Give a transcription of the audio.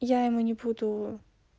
я ему не буду